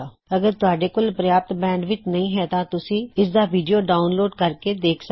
ਅਗਰ ਤੁਹਾਡੇ ਕੋਲ ਪ੍ਰਯਾਪਤ ਬੈਂਡਵਿੱਥ ਨਹੀ ਹੈ ਤਾਂ ਤੁਸੀਂ ਇਸਦਾ ਵੀਡਿਓ ਡਾਉਨਲੋਡ ਕਰ ਕੇ ਦੇਖ ਸਕਦੇ ਹੋ